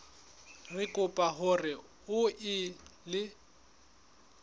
re kopa hore o ele